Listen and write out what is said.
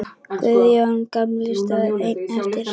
Guðjón gamli stóð einn eftir.